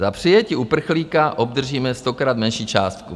Za přijetí uprchlíka obdržíme stokrát menší částku.